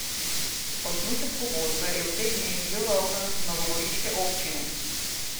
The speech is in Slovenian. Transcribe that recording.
Osnutek pogodbe je v teh dneh že v rokah novogoriške občine.